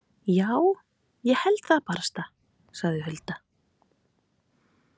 Já, ég held það barasta, sagði Hulda.